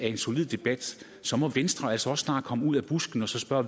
en solid debat så må venstre altså også snart komme ud af busken og svare